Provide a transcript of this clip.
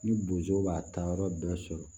Ni bozow b'a ta yɔrɔ bɛɛ sɔrɔ